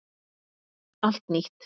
Allt nýtt